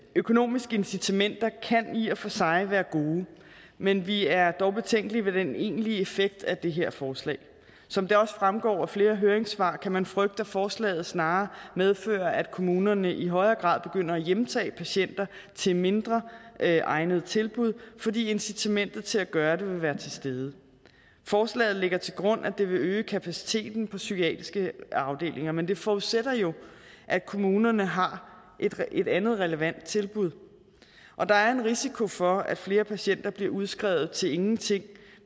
økonomiske incitamenter kan i og for sig være gode men vi er dog betænkelige ved den egentlige effekt af det her forslag som det også fremgår af flere høringssvar kan man frygte at forslaget snarere medfører at kommunerne i højere grad begynder at hjemtage patienter til mindre egnede tilbud fordi incitamentet til at gøre det vil være til stede forslaget ligger til grund at det vil øge kapaciteten på psykiatriske afdelinger men det forudsætter jo at kommunerne har et andet relevant tilbud og der er en risiko for at flere patienter bliver udskrevet til ingenting